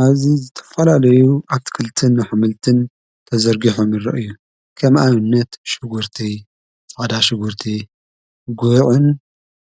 ኣዝ ዘተፈላለዩ ኣትክልትን ኃምልትን ተዘርጊሖምረ እዩ ከም ኣይነት ሽጉርቲ ጸዳ ሽጉርቲ ጐዕን